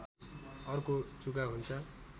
अर्को जुका हुन्छ